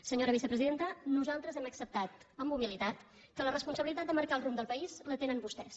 senyora vicepresidenta nosaltres hem acceptat amb humilitat que la responsabilitat de marcar el rumb del país la tenen vostès